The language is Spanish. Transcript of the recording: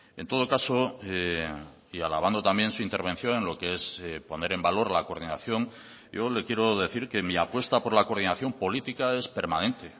en todo caso y alabando también su intervención en lo que es poner en valor la coordinación yo le quiero decir que mí apuesta por la coordinación política es permanente